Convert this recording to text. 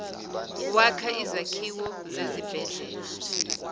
wakha izakhiwo zezibhedlela